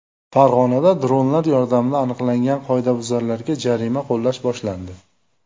Farg‘onada dronlar yordamida aniqlangan qoidabuzarlarga jarima qo‘llash boshlandi.